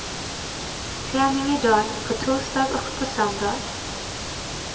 Träning i dag, på torsdag och på söndag.